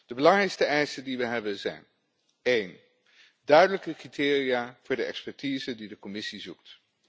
De belangrijkste eisen die we hebben zijn Eén duidelijke criteria voor de expertise die de Commissie zoekt.